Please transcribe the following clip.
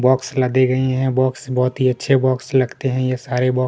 box लगे हूए है बॉक्स बहोत ही अच्छे बॉक्स लगते है ये सारे बॉक्स --